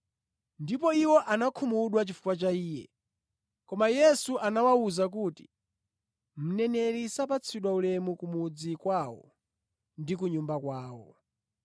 Ndipo iwo anakhumudwa chifukwa cha Iye. Koma Yesu anawawuza kuti, “Mneneri sapatsidwa ulemu ku mudzi kwawo ndi ku nyumba kwawo.”